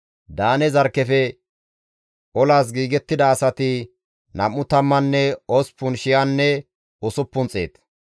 Daane zarkkefe olas giigettida asati nam7u tammanne osppun shiyanne usuppun xeet.